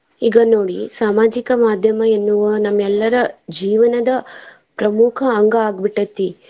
ಈಗ ನೋಡಿ ಸಾಮಾಜಿಕ ಮಾದ್ಯಮ ಎನ್ನುವ ನಮ್ಮೆಲ್ಲರ ಜೀವನದ ಪ್ರಮುಖ ಅಂಗ ಆಗ್ಬಿಟೇತಿ.